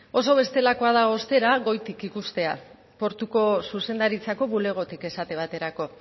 oso bestelako da ostera goitik ikustea portuko zuzendaritzako bulegotik esate baterako